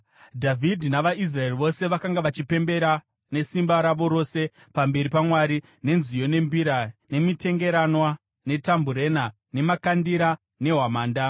Dhavhidhi navaIsraeri vose vakanga vachipembera nesimba ravo rose pamberi paMwari, nenziyo, nembira, nemitengeranwa, netambureni, nemakandira nehwamanda.